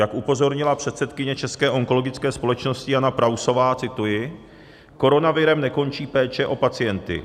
Jak upozornila předsedkyně České onkologické společnosti Jana Prausová - cituji: "Koronavirem nekončí péče o pacienty.